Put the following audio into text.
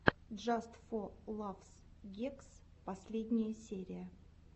джаст фо лафс гэгс последняя серия